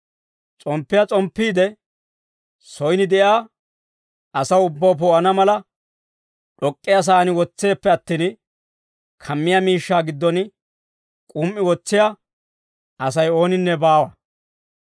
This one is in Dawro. S'omppiyaa s'omppiide, soyin de'iyaa asaa ubbaw poo'ana mala, d'ok'k'iyaa saan wotseeppe attin, kammiyaa miishshaa giddon k'um"i wotsiyaa Asay ooninne baawa.